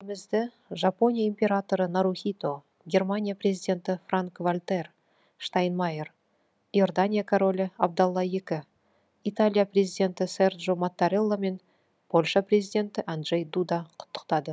елімізді жапония императоры нарухито германия президенті франк вальтер штайнмайер иордания королі абдалла екінші италия президенті серджо маттарелла мен польша президенті анджей дуда құттықтады